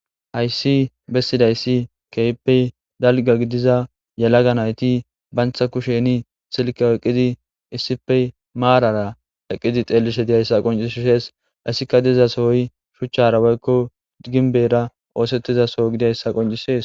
Hayssi bessidayssi keypey dalga gidiza yalaga nayti bantha kusheni silka eqqidi issife maarara eqqidi xeellishe diyayssa qoncishshees issika dizasohoy shuchchara woykko ginbera oosettizaso gidayssa qoncishees